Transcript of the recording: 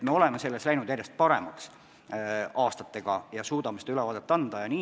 Me oleme selles aastate jooksul järjest paremaks läinud ja suudame selle ülevaate anda.